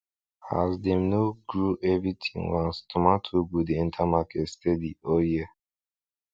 as dem no grow everything once tomato go dey enter market steady all year